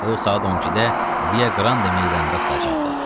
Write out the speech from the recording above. O saat 12-də Via Qrande meydanda asılacaqdı.